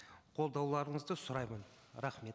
қолдауларыңызды сұраймын рахмет